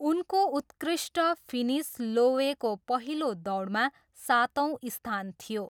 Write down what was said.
उनको उत्कृष्ट फिनिस लोवेको पहिलो दौडमा सातौँ स्थान थियो।